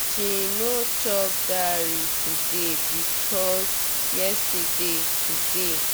she no chop dairy today because yesterday today